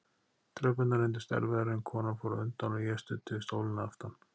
Tröppurnar reyndust erfiðar en konan fór á undan og ég studdi við stólinn að aftan.